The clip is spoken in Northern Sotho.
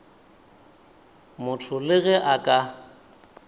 motho le ge a ka